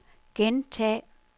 gentag